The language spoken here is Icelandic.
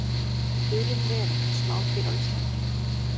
Dulin veröld: Smádýr á Íslandi.